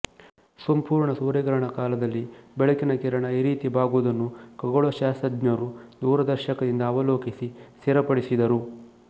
ಸಂಪೂರ್ಣ ಸೂರ್ಯಗ್ರಹಣ ಕಾಲದಲ್ಲಿ ಬೆಳಕಿನ ಕಿರಣ ಈ ರೀತಿ ಬಾಗುವುದನ್ನು ಖಗೋಳ ಶಾಸ್ತ್ರಜ್ಞರು ದೂರದರ್ಶಕದಿಂದ ಅವಲೋಕಿಸಿ ಸ್ಥಿರಪಡಿಸಿದರು